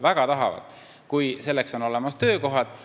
Väga tahavad, kui on olemas töökohad.